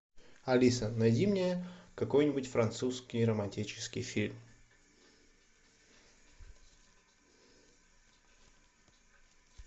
алиса найди мне какой нибудь французский романтический фильм